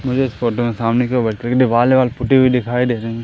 मुझे इस फोटो में सामने की ओर व्हाइट कलर कि दीवाल पुती हुई दिखाई दे रही--